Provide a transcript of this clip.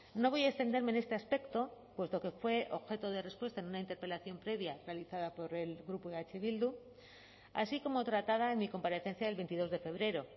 no voy a extenderme en este aspecto puesto que fue objeto de respuesta en una interpelación previa realizada por el grupo de eh bildu así como tratada en mi comparecencia del veintidós de febrero